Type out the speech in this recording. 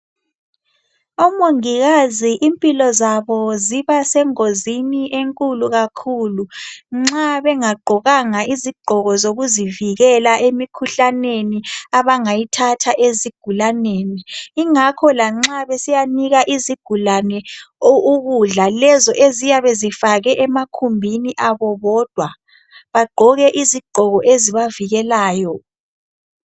Omongikazi impilo zabo zibasengozini enkulu kakhulu nxa bengagqokanga izigqoko zokuzivikela emikhuhlaneni abangayithatha ezigulaneni. Ingakho lanxa besiyanika izigulane ukudla lezo eziyabe zifakwe emakhumbini abo bodwa bagqoke izigqoko ezibavikelayo.